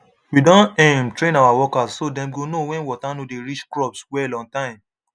we don um train our workers so dem go know when water no dey reach crops well on time